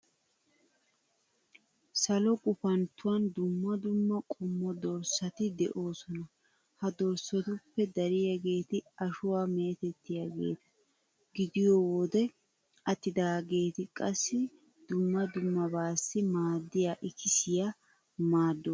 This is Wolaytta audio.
Salo gufanttuwan dumma dumma qommo dorssati de'oosona. Ha dorssatuppe dariyageeti ashuwa meetettiyageeta gidiyo wode attidaageeti qassi dumma dummabaassi maaddiya ikisiyassi maaddoosona